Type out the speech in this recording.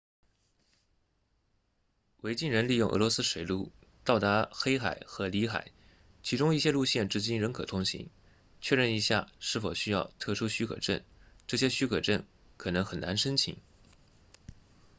维京人利用俄罗斯水路到达黑海和里海其中一些路线至今仍可通行确认一下是否需要特殊许可证这些许可证可能很难申请